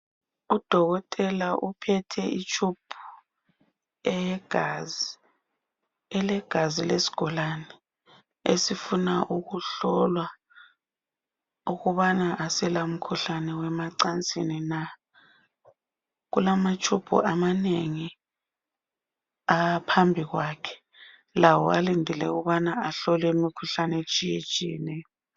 Udokotela uphethe itshubhu eyegazi, ilegazi lesigulani esifuna ukuhlolwa ukuba akala mkhuhlane wemacansini . Kulamatshubhu amanengi phambi kwakhe lawo alindele ukuthi ahlolwe imkhuhlane etshiyatshiyeneyo.